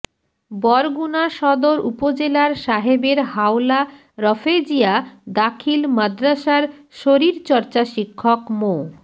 বরগুনা সদর উপজেলার সাহেবের হাওলা রফেজিয়া দাখিল মাদ্রাসার শরীর চর্চা শিক্ষক মো